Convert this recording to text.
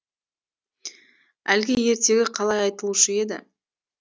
әлгі ертегі қалай айтылушы еді